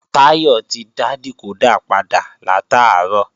Táyọ̀ ti dá dìkódà padà látàárọ̀